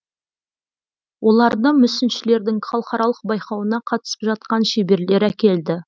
оларды мүсіншілердің халықаралық байқауына қатысып жатқан шеберлер әкелді